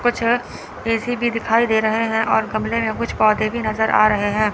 कुछ ए_सी भी दिखाई दे रहे हैं और गमले में कुछ पौधे भी नजर आ रहे हैं।